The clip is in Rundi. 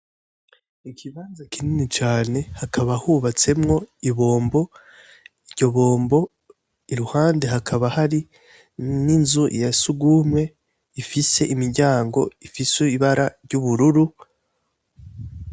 Ikibanza kinini cane, hakaba hubatsemwo ibombo, iryo bombo, iruhande hakaba hari n'inzu ya surwumwe ifise imiryango ifise ibara ry'ubururu.